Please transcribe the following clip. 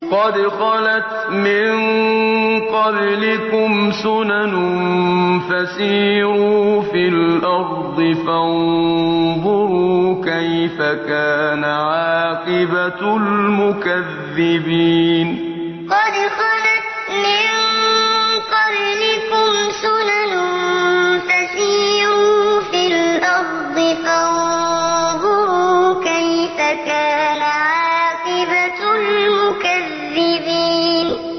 قَدْ خَلَتْ مِن قَبْلِكُمْ سُنَنٌ فَسِيرُوا فِي الْأَرْضِ فَانظُرُوا كَيْفَ كَانَ عَاقِبَةُ الْمُكَذِّبِينَ قَدْ خَلَتْ مِن قَبْلِكُمْ سُنَنٌ فَسِيرُوا فِي الْأَرْضِ فَانظُرُوا كَيْفَ كَانَ عَاقِبَةُ الْمُكَذِّبِينَ